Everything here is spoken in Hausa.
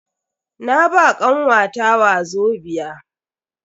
Na ba kanwata wazobia.